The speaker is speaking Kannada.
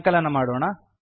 ಸಂಕಲನ ಮಾಡೋಣ